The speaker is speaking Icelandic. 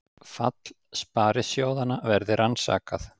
Fall sparisjóðanna verði rannsakað